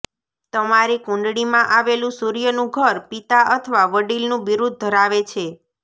તમારી કુંડળીમાં આવેલું સૂર્યનું ઘર પિતા અથવા વડીલનું બિરુદ ધરાવે છે